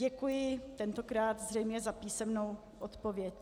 Děkuji, tentokrát zřejmě za písemnou odpověď.